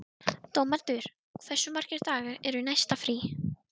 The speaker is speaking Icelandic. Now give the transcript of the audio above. Dómaldur, hversu margir dagar fram að næsta fríi?